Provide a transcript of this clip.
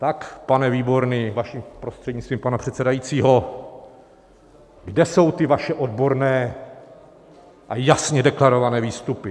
Tak, pane Výborný, vaším prostřednictvím, pana předsedajícího, kde jsou ty vaše odborné a jasně deklarované výstupy?